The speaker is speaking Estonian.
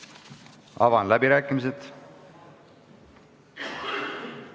Avan läbirääkimised.